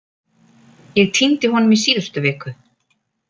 Ég týndi honum í síðustu viku.